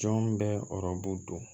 Jɔn bɛ don